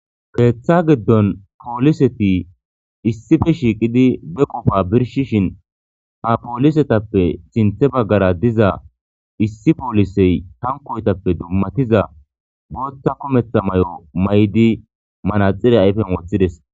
Keeththa giddon pooliseti issife shiiqidi be qofa birshishin ha poolisetappe sinthe baggara diza issi poolisey tankoyetappe dummatiza booththa kumetha may'o may'di manaxire ayfen woththides.